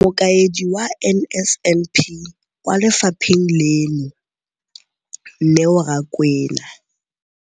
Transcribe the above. Mokaedi wa NSNP kwa lefapheng leno, Neo Rakwena.